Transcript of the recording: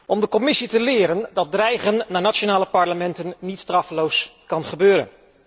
Om de Commissie te leren dat dreigen naar nationale parlementen niet straffeloos kan gebeuren.